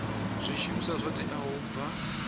zwishumiswa zwo teaho u bva